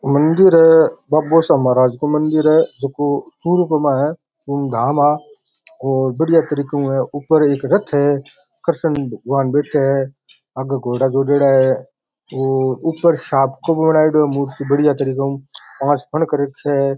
मंदिर है बाबोसा महाराज को मंदिर है ऐको चूरू का में है और बढ़िया तरीको है ऊपर एक रथ है कृष्ण जी भगवान् बैठे है आगे घोड़ा जोड़ेडा है और ऊपर साँप को बनाएडा है मूर्ति बढ़िया तरीको से छे।